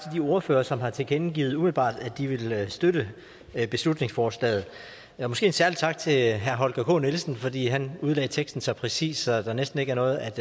de ordførere som har tilkendegivet umiddelbart at de ville støtte beslutningsforslaget måske en særlig tak til herre holger k nielsen fordi han udlagde teksten så præcist at der næsten ikke er noget at